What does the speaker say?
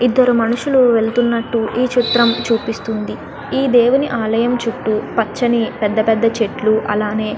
ఇద్దరు మనుసులు వెళుతున్నట్టు ఈ చిత్రం చూపిస్తుంది ఈ దేవుని ఆలయం చుట్టూ పచ్చని పెద్ద పెద్ద చెట్లు అలానే --